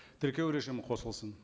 тіркеу режимі қосылсын